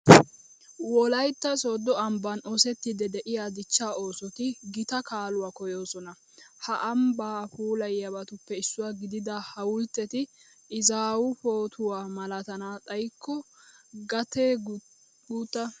Wolaytta sooddo ambban oosettiiddi de'iya dichchaa oosoti gita kaaluwa koyyoosona. Ha ambbaa puulayiyabatuppe issuwa gidida hawultteti izaawu pootuwa malatana xayikko gatee guutta.